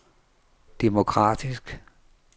demokratisk